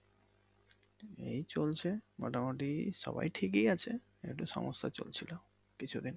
এই চলছে মোটামুটি সবাই ঠিকই আছে একটু সমস্যা চলছিলো কিছুদিন।